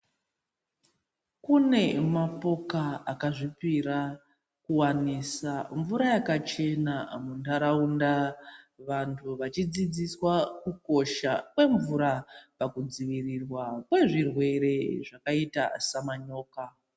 Kune mapoka akazvipira kuwanisa mvura yakachena mundaraunda vantu vachidzidziswa kukosha kwemvura pakudzivirirwa kwezvirwere sekuita semanyoka.